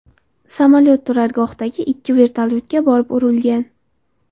Samolyot turargohdagi ikki vertolyotga borib urilgan.